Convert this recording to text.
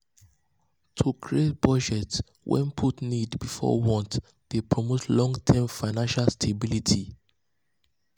to create budget wey put needs before wants dey promote long-term financial stability.